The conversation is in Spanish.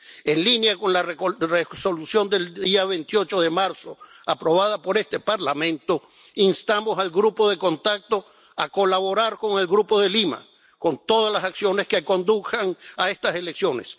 En línea con la Resolución del día 28 de marzo aprobada por este Parlamento, instamos al Grupo de Contacto a colaborar con el Grupo de Lima, con todas las acciones que conduzcan a estas elecciones.